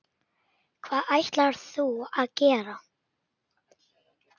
Hvað ætlarðu að gera?